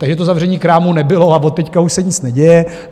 Takže to zavření krámu nebylo a od teď už se nic neděje.